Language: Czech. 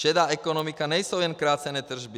Šedá ekonomika nejsou jen krácené tržby.